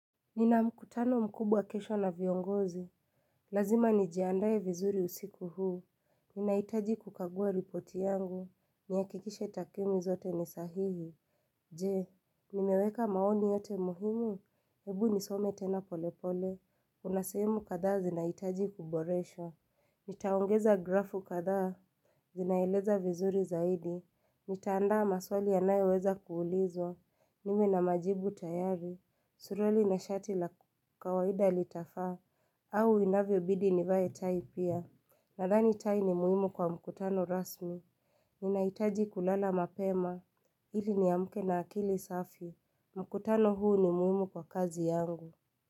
Nina mkutano mkubwa kesho na viongozi, lazima nijiandaye vizuri usiku huu, ninaitaji kukagua ripoti yangu, nihakikishe takwimi zote ni sahihi, je, nimeweka maoni yote muhimu? Ebu nisome tena pole pole, kuna sehemu kadhaa zinaitaji kuboreshwa. Nitaongeza grafu kadhaa, zinaeleza vizuri zaidi. Nitaandaa maswali yanayoweza kuulizwa. Niwe na majibu tayari. Suruali na shati la kawaida litafaa. Au inavyo bidi nivae tai pia. Nadhani tai ni muhimu kwa mkutano rasmi. Ninahitaji kulala mapema ili niamke na akili safi. Mkutano huu ni muhimu kwa kazi yangu.